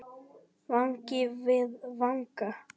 Vangi við vanga.